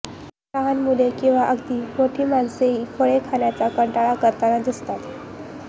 लहान मुले किंवा अगदी मोठी माणसेही फळे खाण्याचा कंटाळा करताना दिसतात